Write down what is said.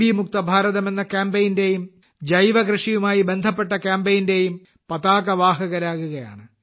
മുക്ത ഭാരതം എന്ന കാമ്പെയ്നിന്റെയും ജൈവ കൃഷിയുമായി ബന്ധപ്പെട്ട കാമ്പെയ്നിന്റെയും പതാകവാഹകരാകുകയാണ്